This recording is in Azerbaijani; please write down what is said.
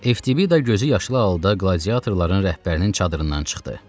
Evtibida gözü yaşlı halda qladiatorların rəhbərinin çadırından çıxdı.